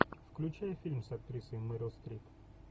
включай фильм с актрисой мерил стрип